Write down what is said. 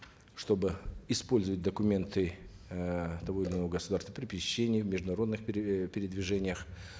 чтобы использовать документы эээ того или иного государства при пересечении международных э передвижениях